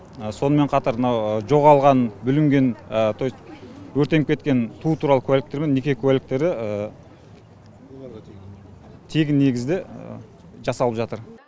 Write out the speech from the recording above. сонымен қатар мынау жоғалған бүлінген то есть өртеніп кеткен туу туралы куәліктер мен неке куәліктері тегін негізде жасалып жатыр